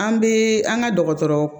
An bɛ an ka dɔgɔtɔrɔ